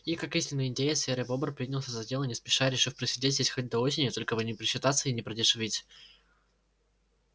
и как истинный индеец серый бобр принялся за дело не спеша решив просидеть здесь хоть до осени только бы не просчитаться и не продешевить